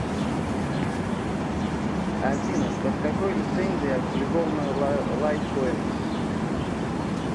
афина под какой лицензией опубликовано лайткоин